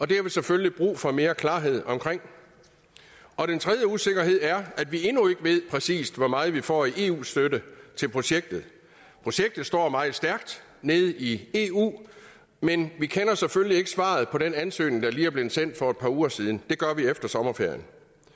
det har vi selvfølgelig brug for mere klarhed omkring og den tredje usikkerhed er at vi endnu ikke ved præcis hvor meget vi får i eu støtte til projektet projektet står meget stærkt nede i eu men vi kender selvfølgelig ikke svaret på den ansøgning der lige er blevet sendt for et par uger siden det gør vi efter sommerferien